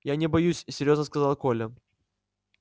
я не боюсь серьёзно сказал коля